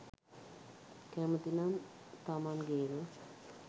කැමති නම් තමන් ගේම